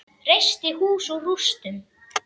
Reisti hús úr rústum.